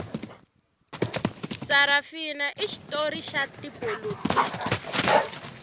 sarafina i xitori xa tipolotiki